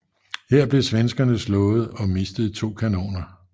Her blev svenskerne slået og mistede to kanoner